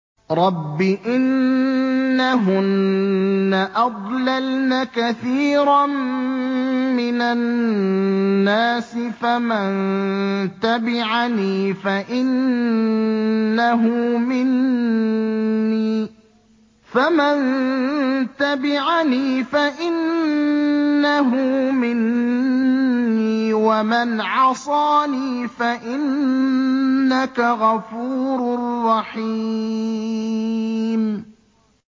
رَبِّ إِنَّهُنَّ أَضْلَلْنَ كَثِيرًا مِّنَ النَّاسِ ۖ فَمَن تَبِعَنِي فَإِنَّهُ مِنِّي ۖ وَمَنْ عَصَانِي فَإِنَّكَ غَفُورٌ رَّحِيمٌ